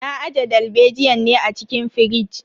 Na aje dalbejiyan ne a cikin firij.